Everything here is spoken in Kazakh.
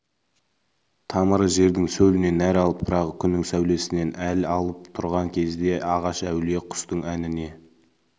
тамыры жердің сөлінен нәр алып жапырағы күннің сәулесінен әл алып тұрған кезде ағаш әулие құстың әніне